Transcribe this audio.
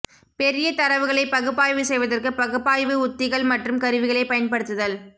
பெரிய தரவுகளைப் பகுப்பாய்வு செய்வதற்கு பகுப்பாய்வு உத்திகள் மற்றும் கருவிகளைப் பயன்படுத்துதல்